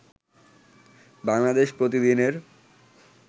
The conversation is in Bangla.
বাংলাদেশ প্রতিদিনের